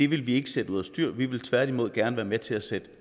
vil vi ikke sætte over styr vi vil tværtimod gerne være med til at sætte